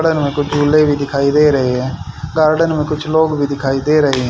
Garden में कुछ झूले भी दिखाई दे रहे हैं गार्डन में कुछ लोग भी दिखाई दे रहे हैं।